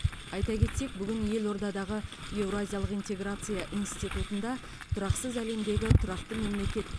айта кетсек бүгін елордадағы еуразиялық интеграция институтында тұрақсыз әлемдегі тұрақты мемлекет